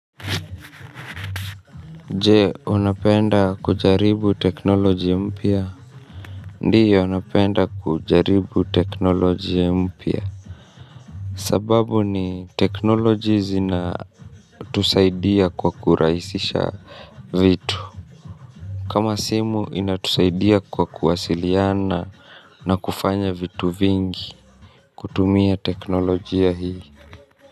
Je, unapenda kujaribu teknoloji mpya? Ndiyo napenda kujaribu teknolojia mpya. Sababu ni teknoloji zina tusaidia kwa kurahisisha vitu. Kama simu, inatusaidia kwa kuwasiliana na kufanya vitu vingi. Kutumia teknolojia hii.